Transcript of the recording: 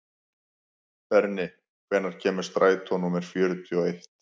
Berni, hvenær kemur strætó númer fjörutíu og eitt?